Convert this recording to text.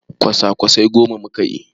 Kwasa-kwasai goma muke yi.